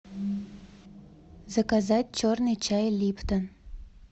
заказать черный чай липтон